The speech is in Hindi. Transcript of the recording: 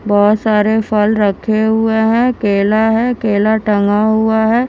बहुत सारे फल रखे हुए हैं केला है केला टंगा हुआ है।